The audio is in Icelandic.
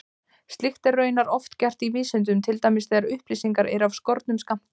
Slíkt er raunar oft gert í vísindum, til dæmis þegar upplýsingar eru af skornum skammti.